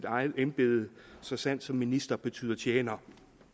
eget embede så sandt som at minister betyder tjener